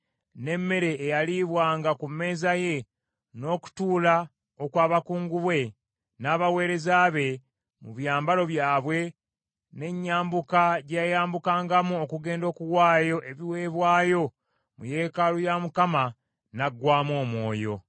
n’emmere eyaliibwanga ku mmeeza ye, n’okutuula okw’abakungu be, n’abaweereza be mu byambalo byabwe, n’enyambuka gye yayambukangamu okugenda okuwaayo ebiweebwayo mu yeekaalu ya Mukama , n’aggwaamu omwoyo.